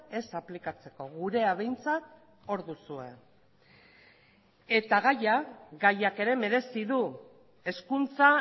ez aplikatzeko gurea behintzat hor duzue eta gaiak ere merezi du hezkuntza